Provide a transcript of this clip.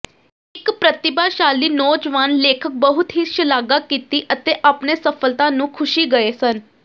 ਇਕ ਪ੍ਰਤਿਭਾਸ਼ਾਲੀ ਨੌਜਵਾਨ ਲੇਖਕ ਬਹੁਤ ਹੀ ਸ਼ਲਾਘਾ ਕੀਤੀ ਅਤੇ ਆਪਣੇ ਸਫਲਤਾ ਨੂੰ ਖੁਸ਼ੀ ਗਏ ਸਨ